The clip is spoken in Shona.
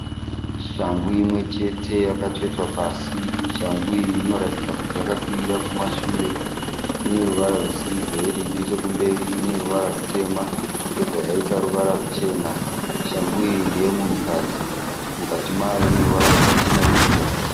Shangu imwechete yakatsvetwa pasi. Shangu iyi inoratidza kuti yakakwirira kumashure. Ine ruvara rwesiriveri. Nechekumberi ine ruvara rutema yobva yaita ruvara ruchena. Shangu iyi ndeemunhukadzi, mukati mayo ineruvara rwakachenerukira.